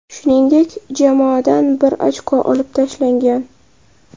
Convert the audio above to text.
Shuningdek, jamoadan bir ochko olib tashlangan.